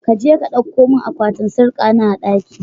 kaje ka kawu min akwatin sarkana a ɗaki.